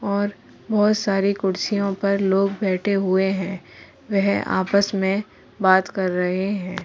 और बोहोत सारी कुर्सियों पर लोग बैठे हुए हैं। वह आपस में बात कर रहे हैं।